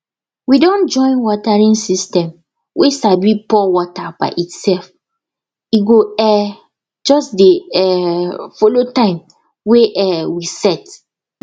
we don join watering system way sabi pour water by itself e go um just dey um follow time wey um we set